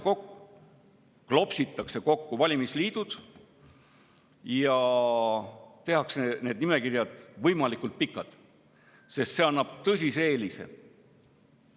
Klopsitakse kokku valimisliidud ja need nimekirjad tehakse võimalikult pikad, sest see annab tõsise eelise.